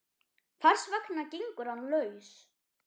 Hvers vegna gengur hann laus?